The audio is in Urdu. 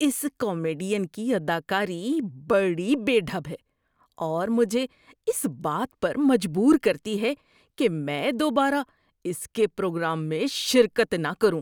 اس کامیڈین کی اداکاری بڑی بے ڈھب ہے اور مجھے اس بات پر مجبور کرتی ہے کہ میں دوبارہ اس کے پروگرام میں شرکت نہ کروں۔